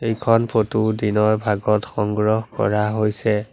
এইখন ফটো দিনৰ ভাগত সংগ্ৰহ কৰা হৈছে।